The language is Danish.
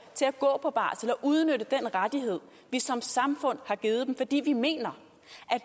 til at gå på barsel og udnytte den rettighed vi som samfund har givet dem fordi vi mener